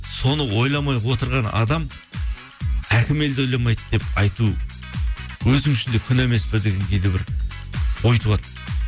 соны ойламай отырған адам әкім елді ойламайды деп айту өзің үшін де күнә емес пе деген кейде бір ой туады